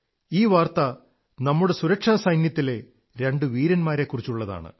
ഈ വാർത്ത നമ്മുടെ സുരക്ഷാസൈന്യത്തിലെ രണ്ടു വീരന്മാരെക്കുറിച്ചുള്ളതാണ്